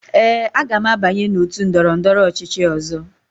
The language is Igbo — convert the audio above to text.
Ee, aga m abanye n'otu ndọrọndọrọ ọchịchị ọzọ.